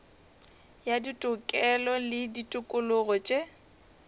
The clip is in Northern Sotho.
ya ditokelo le ditokologo tše